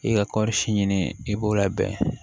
I ka kɔɔri si ɲini i b'o labɛn